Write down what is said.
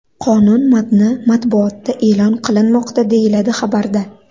Qonun matni matbuotda e’lon qilinmoqda”, deyiladi xabarda.